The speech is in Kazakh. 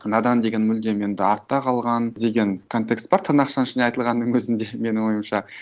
надан деген мүлдем енді артта қалған деген контекст бар тырнақшаның ішінде айтылғаннын өзінде менің ойымша